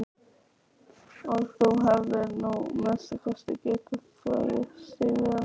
Og þú hefðir nú að minnsta kosti getað þvegið stígvélin.